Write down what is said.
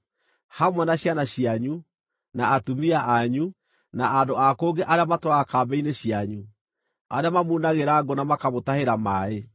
hamwe na ciana cianyu, na atumia anyu, na andũ a kũngĩ arĩa matũũraga kambĩ-inĩ cianyu, arĩa mamunagĩra ngũ na makamũtahĩra maaĩ.